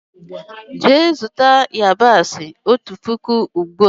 Jee zuta yabasi ọtu pụkụ ugbua!!!